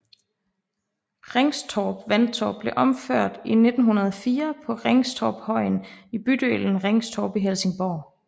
Ringstorp Vandtårn blev opført i 1904 på Ringstorpshøjen i bydelen Ringstorp i Helsingborg